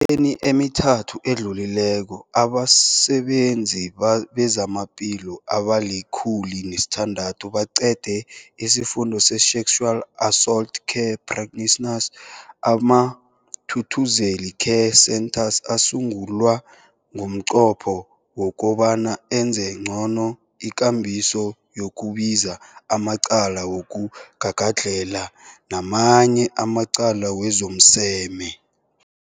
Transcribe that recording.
eni emithathu edluleko, abasebenzi bezamaphilo abali-106 baqede isiFundo se-Sexual Assault Care Practitioners. AmaThuthuzela Care Centres asungulwa ngomnqopho wokobana enze ngcono ikambiso yokubika amacala wokugagadlhela namanye amacala wezomseme.